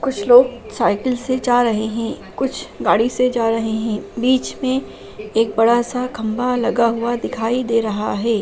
कुछ लोग साइकिल से जा रहे है कुछ गाड़ी से जा रहे है बीच में एक बड़ा सा खंभा लगा दिखाई दे रहा है।